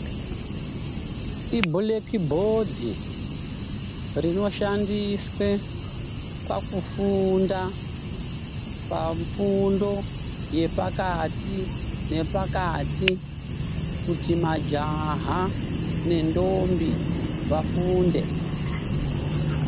Ibhuleki bhodhi rinoshandiswe pakufunda pafundo yepakati nepakati kuti majaha nendombi vafunde.